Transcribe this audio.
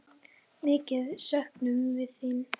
Mikið söknum við þín.